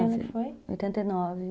Em que ano foi? Oitenta e nove